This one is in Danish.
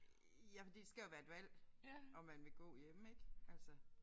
Ja fordi det skal jo være et valg om man vil gå hjemme ik altså